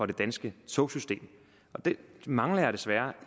det danske togsystem det mangler jeg desværre